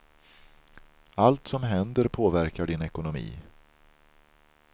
Allt som händer påverkar din ekonomi.